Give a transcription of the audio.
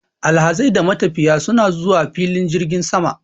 Alhazai da matafiya suna zuwa filin jirgin sama.